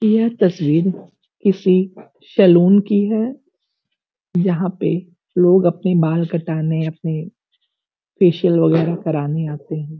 यह तस्वीर किसी सलून की है। यहाँ पे लोग अपने बाल कटाने अपने फेसिअल वगैरा कराने आते हैं।